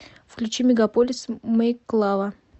включи мегаполис мэйклава